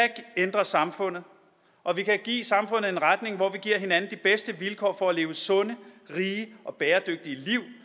ændre samfundet og vi kan give samfundet en retning hvor vi giver hinanden de bedste vilkår for at leve sunde rige og bæredygtige liv